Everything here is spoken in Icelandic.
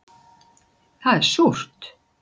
Það er súrt